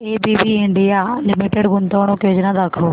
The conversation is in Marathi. एबीबी इंडिया लिमिटेड गुंतवणूक योजना दाखव